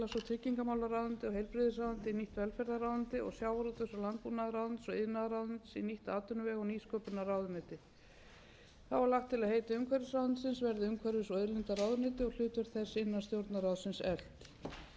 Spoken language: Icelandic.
tryggingamálaráðuneytið og heilbrigðisráðuneytið í nýtt velferðarráðuneyti og sjávarútvegs og landbúnaðarráðuneytis og iðnaðarráðuneytis í nýtt atvinnuvega og nýsköpunarráðuneyti þá er lagt til að heiti umhverfisráðuneytisins verði umhverfis og auðlindaráðuneyti og hlutverk þess innan stjórnarráðsins eflt í ljósi umtalsverðra